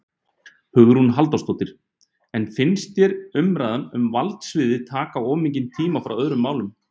Hugrún Halldórsdóttir: En finnst þér umræðan um valdsviðið taka of mikið tíma frá öðrum málum?